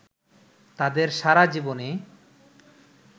তাঁদের সারা জীবনে